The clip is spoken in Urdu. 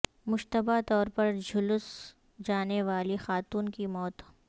مشتبہ طور پر جھلس جانے والی خاتون کی موت